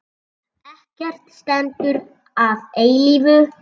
Ekkert stendur að eilífu.